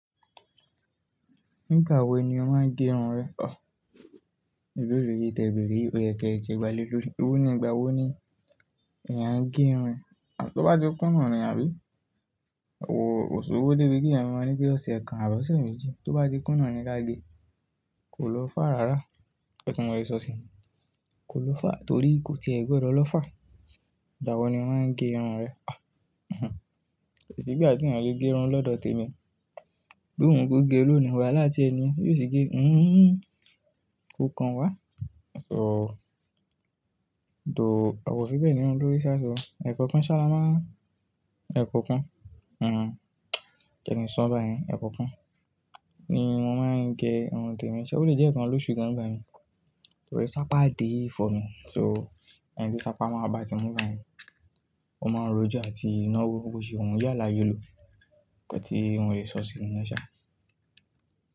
Nígbà wo ni o máa ń gé irun rẹ? Òróró yìí tẹ̀bẹ̀rì, ó yẹ kí ẹ ti gba lélòó. Ewó ní ìgbà wo ni èèyàn ń gé irun? Tó bá ti kún nà ni àbí? Kò, kòṣowo débi pé, èyàn máa ń ní pé ọ̀sẹ̀ kan àbí ọ̀sẹ̀ méjì. Tó bá ti kún náà ni ka gé. Kò lọ́ fà rárá. Ìkan tí mọ́ rè sọ sí. Kò lọ́ fà torí kò ti ẹ gbọdọ̀ lọ́ fà. Ìgbà wo ni omá ń gé irun rẹ? Kò sì gba ti ènìyàn ole gé irun lọ́dọ̀ tèmi. Bí wù ko gé, ló ni wáhala ti ẹ nìyẹn biò sì gé. Hmmn. Ko kan wá. So, though, àwa o fi bẹ́ẹ̀ ni irun lórí sa. Ẹ̀ko kan ṣá lá má. Ẹ̀kọ́ kan. Hmm. Ẹ̀kọ́ kan ni mọ́ máa ń gé irun tèmi. Ṣé ó lè jẹ́ ẹ̀kan lóṣù kan nígbà mi. Torí sapa dìí fọ́ mi. So, ẹni tí sapa máa bá ti mú bá yi, ó máa ń rojú àti naá wo bo ti wù yalayolo ìkan tí mo lè sọ sí mi yẹn sá.